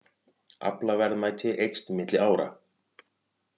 Aflaverðmæti eykst milli ára